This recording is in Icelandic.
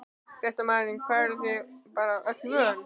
Fréttamaður: Hvað, eruð þið bara öllu vön?